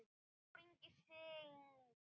Eyþór Ingi syngur.